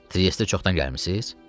Triestə çoxdan gəlmisiz?